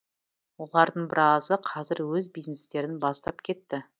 олардың біразы қазір өз бизнестерін бастап кетті